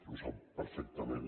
ho sap perfectament